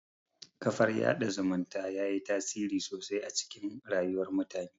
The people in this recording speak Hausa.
Kafar yaɗa zumunta yayi tasiri sosai a cikin rayuwar mutane